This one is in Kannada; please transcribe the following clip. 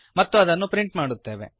ಮತ್ತು ಅದನ್ನು ಪ್ರಿಂಟ್ ಮಾಡುತ್ತೇವೆ